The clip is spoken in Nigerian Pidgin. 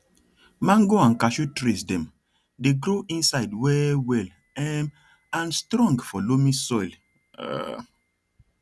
mango and cashew trees dem dey grow inside well well um and strong for loamy soil um